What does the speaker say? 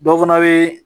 Dɔ fana bɛ